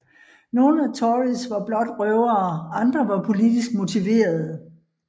Nogle af Tories var blot røvere andre var politisk motiverede